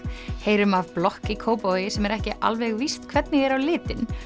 heyrum af blokk í Kópavogi sem er ekki alveg víst hvernig er á litin